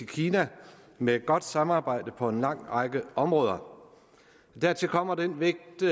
kina med et godt samarbejde på en lang række områder dertil kommer den vægt